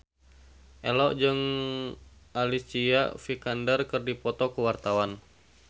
Ello jeung Alicia Vikander keur dipoto ku wartawan